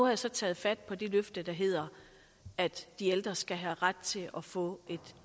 jeg så taget fat på det løfte der hedder at de ældre skal have ret til at få et